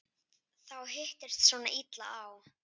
Það hittist svona illa á.